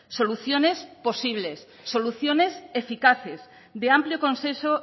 soluciones posibles soluciones eficaces de amplio consenso